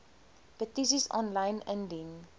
petisies aanlyn indien